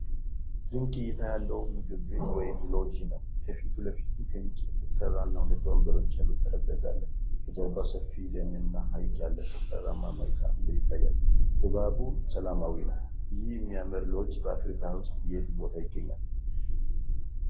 ድንቅ እይታ ያለው ምግብ ቤት ወይም ሎጅ ነው። ከፊት ለፊቱ ከእንጨት የተሰራና ሁለት ወንበሮች ያሉት ጠረጴዛ አለ። ከጀርባው ሰፊ ደንና ሐይቅ ያለበት ተራራማ መልክአ ምድር ይታያል። ድባቡ ሰላማዊ ነው። ይህ የሚያምር ሎጅ በአፍሪካ ውስጥ የት ቦታ ይገኛል?